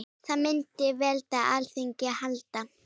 Það myndi veita Alþingi aðhald.